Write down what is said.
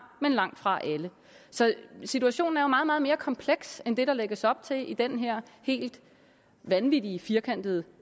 men langtfra alle så situationen er jo meget meget mere kompleks end det der lægges op til i den her helt vanvittig firkantede